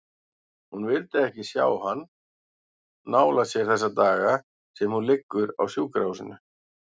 Hún vill ekki sjá hann nálægt sér þessa daga sem hún liggur á sjúkrahúsinu.